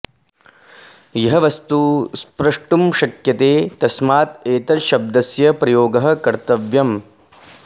यः वस्तुः स्प्रष्टुं शक्यते तस्मात् एतद् शब्दस्य प्रयोगः कर्तव्यम्